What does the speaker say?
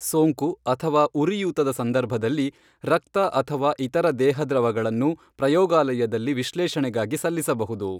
ಸೋಂಕು ಅಥವಾ ಉರಿಯೂತದ ಸಂದರ್ಭದಲ್ಲಿ, ರಕ್ತ ಅಥವಾ ಇತರ ದೇಹ ದ್ರವಗಳನ್ನು ಪ್ರಯೋಗಾಲಯದಲ್ಲಿ ವಿಶ್ಲೇಷಣೆಗಾಗಿ ಸಲ್ಲಿಸಬಹುದು.